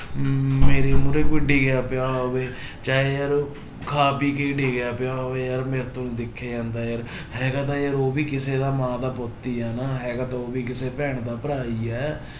ਮੇਰੇ ਮੂਹਰੇ ਕੋਈ ਡਿੱਗਿਆ ਪਿਆ ਹੋਵੇ ਚਾਹੇ ਯਾਰ ਉਹ ਖਾ ਪੀ ਕੇ ਹੀ ਡਿੱਗਿਆ ਪਿਆ ਹੋਵੇ ਯਾਰ ਮੇਰੇ ਤੋਂ ਨੀ ਦੇਖਿਆ ਜਾਂਦਾ ਯਾਰ ਹੈਗਾ ਤਾਂ ਯਾਰ ਉਹ ਵੀ ਕਿਸੇੇ ਦਾ ਮਾਂ ਦਾ ਪੁੱਤ ਹੀ ਆ ਨਾ ਹੈਗਾ ਤਾਂ ਉਹ ਵੀ ਕਿਸੇ ਭੈਣ ਦਾ ਭਰਾ ਹੀ ਹੈ।